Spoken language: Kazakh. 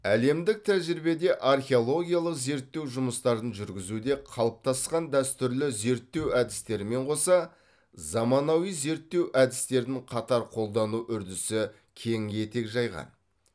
әлемдік тәжірибеде археологиялық зерттеу жұмыстарын жүргізуде қалыптасқан дәстүрлі зерттеу әдістерімен қоса заманауи зерттеу әдістерін қатар қолдану үрдісі кең етек жайған